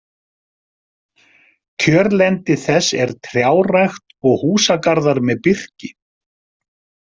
Kjörlendi þess er trjárækt og húsagarðar með birki.